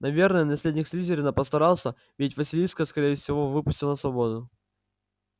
наверное наследник слизерина постарался ведь василиска скорее всего выпустил на свободу